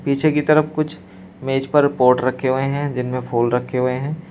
पीछे की तरफ कुछ मेज पर पॉट रखे हुए हैं जिन में फूल रखे हुए हैं।